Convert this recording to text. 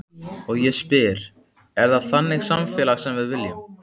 Og ég spyr, er það þannig samfélag sem við viljum?